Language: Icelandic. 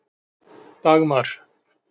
Dagmar